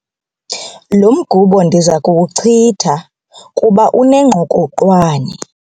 Lo mgubo ndiza kuwuchitha kuba unengqokoqwane.